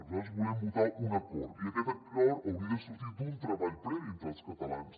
nosaltres volem votar un acord i aquest acord hauria de sortir d’un treball previ entre els catalans